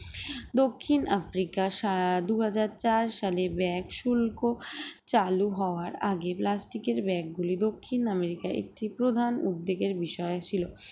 দক্ষিণ আফ্রিকার সা দুই হাজার চার সালে bag শুল্ক চালু হওয়ার আগে plastic এর bag গুলি দক্ষিণ আমেরিকার একটি প্রধান উদ্বেগের বিষয় ছিল